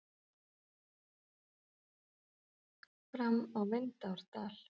Fram á Vindárdal.